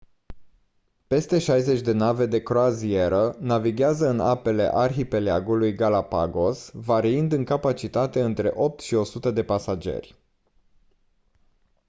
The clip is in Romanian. peste 60 de nave de croazieră navighează în apele arhipelagului galapagos variind în capacitate între 8 și 100 de pasageri